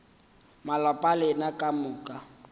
malapa a lena ka moka